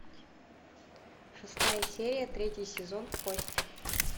шестая серия третий сезон кости